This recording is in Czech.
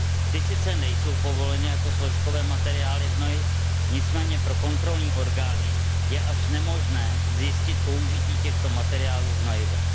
Ty sice nejsou povoleny jako složkové materiály hnojiv, nicméně pro kontrolní orgány je až nemožné zjistit použití těchto materiálů v hnojivech.